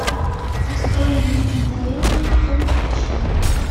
открой мне одаренные фул эйч ди